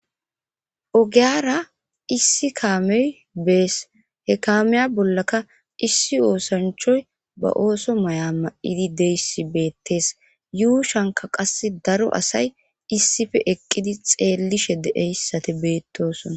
Ogiyara issi kaamey bees he kaameya bollaka issi oosanchoy ba ooso may7a ma7idi deyssi beettes yuu shanka qas daro asay issife eqqidi xeellishe deeyssate beettosona.